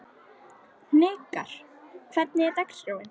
Hnikarr, hvernig er dagskráin?